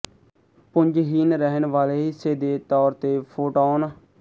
ਪੁੰਜਹੀਣ ਰਹਿਣ ਵਾਲੇ ਹਿੱਸੇ ਦੇ ਤੌਰ ਤੇ ਫੋਟੌਨ